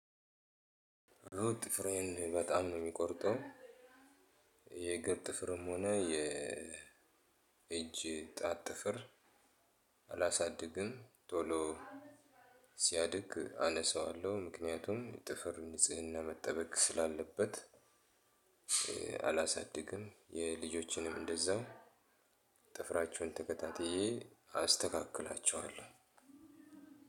ኦ ጥፍሬን በጣም ነው የሚቆርጠው የእግር ጥፍርም ሆነ የ የእጅ ጣት ጥፍር። አላሳድግም ቶሎ ሲያድግ አነሳዋለሁ ምክንያቱም ጥፍር ንጽህና መጠበቅ ስላለበት። አላሳድግም የልጆችንም እንደዛው ጥፍራቸውን ተከታትዬ አስተካክላቸዋለሁ።